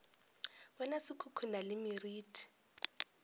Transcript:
bona se khukhuna le meriti